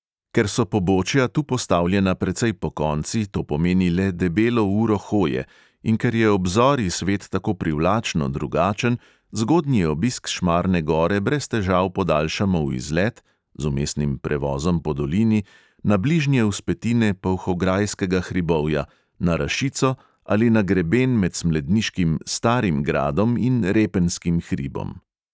Ker so pobočja tu postavljena precej pokonci, to pomeni le debelo uro hoje, in ker je ob zori svet tako privlačno drugačen, zgodnji obisk šmarne gore brez težav podaljšamo v izlet (z vmesnim prevozom po dolini) na bližnje vzpetine polhograjskega hribovja, na rašico ali na greben med smledniškim starim gradom in repenjskim hribom.